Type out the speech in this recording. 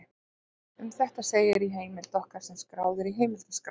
Um þetta segir í heimild okkar sem skráð er í heimildaskrá: